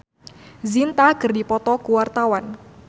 Cathy Sharon jeung Preity Zinta keur dipoto ku wartawan